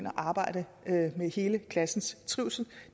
arbejde med hele klassens trivsel